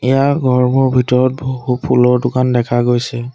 ইয়াৰ ঘৰবোৰ ভিতৰত বহু ফুলৰ দোকান দেখা গৈছে।